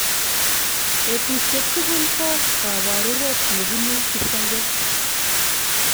betusiek tugul ko kabaruret nebunu kipsenget